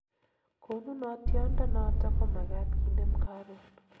konunotiot ndonoton komagat kinem karon